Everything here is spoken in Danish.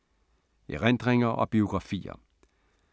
Erindringer og biografier